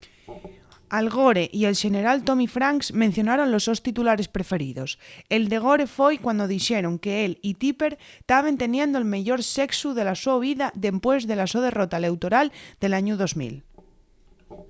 al gore y el xeneral tommy franks mencionaron los sos titulares preferidos el de gore foi cuando dixeron qu'él y tipper taben teniendo'l meyor sexu de la so vida dempués de la so derrota eleutoral del añu 2000